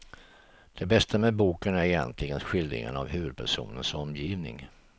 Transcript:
Det bästa med boken är egentligen skildringen av huvudpersonens omgivning.